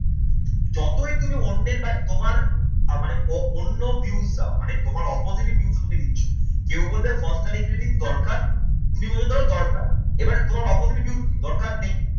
যতই তুমি অন্যের বা মানে অন্য views দাও মানে তোমার opposite views টা তুমি নিচ্ছ। কেউ বলবে posturing reading দরকার তুমি বলে দেওয়া দরকার। এবার তোমার opposite views কি দরকার নেই।